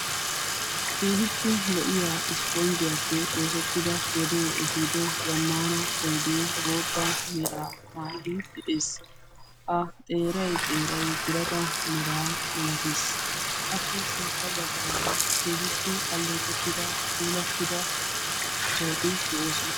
keehippe lo7iya ispponjjiyaappe xoosettida godee ehiido zammana oyide bootta meraa mayyidi de7ees. a xeerai xeerai birata meraa malatees. appe sintta baggaara keehippe alleeqettida puulattida sohootii de7oosona.